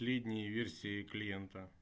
последние версии клиента